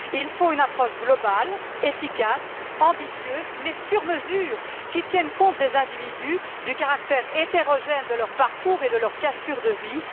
Il faut une approche globale, efficace, ambitieuse mais sur mesure, qui tienne compte des individus, du caractère hétérogène de leurs parcours et de leurs cassures de vie.